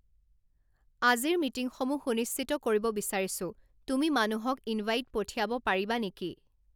আজিৰ মিটিংসমূহ সুনিশ্চিত কৰিব বিচাৰিছোঁ তুমি মানুহক ইনভাইট পঠিয়াব পাৰিবা নেকি